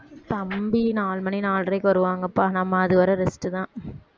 தம்பி நாலு மணி நாலரைக்கு வருவாங்கப்பா நம்ம அது வர rest தான்